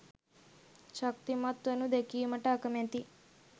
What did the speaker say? ශක්තිමත් වනු දැකීමට අකමැති